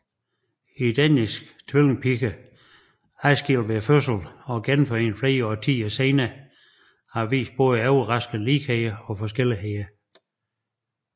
Identiske tvillingepiger adskilt ved fødslen og genforenet flere årtier senere har vist både overraskende ligheder og forskelligheder